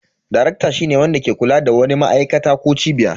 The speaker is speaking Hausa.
Darekta shine wanda ke kula da wani ma'aikata ko cibiya.